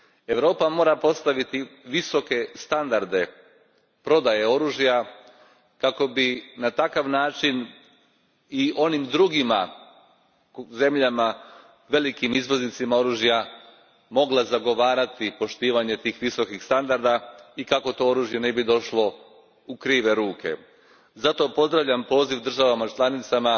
Europa mora postaviti visoke standarde prodaje oružja kako bi na takav način i kod onih drugih zemalja, velikih izvoznika oružja mogla zagovarati poštivanje tih visokih standarda i kako to oružje ne bi došlo u krive ruke. Zato pozdravljam poziv državama članicama